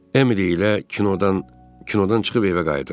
Emily ilə kinodan kinodan çıxıb evə qayıdırdıq.